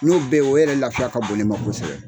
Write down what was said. N'o bɛɛ o yɛrɛ lafiya ka bon ne ma kosɛbɛ.